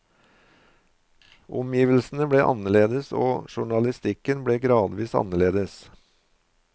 Omgivelsene ble annerledes og journalistikken ble gradvis annerledes.